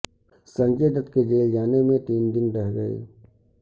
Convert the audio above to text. سنجے دت کے جیل جانے میں تین دن رہ گئے